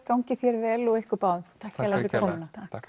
gangi þér vel og ykkur báðum takk fyrir komuna takk